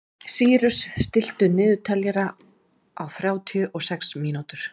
Sýrus, stilltu niðurteljara á þrjátíu og sex mínútur.